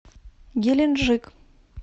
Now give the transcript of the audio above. геленджик